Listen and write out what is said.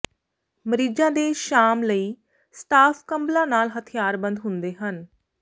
ਮਰੀਜ਼ਾਂ ਦੇ ਸ਼ਾਮ ਲਈ ਸਟਾਫ ਕੰਬਲਾਂ ਨਾਲ ਹਥਿਆਰਬੰਦ ਹੁੰਦੇ ਹਨ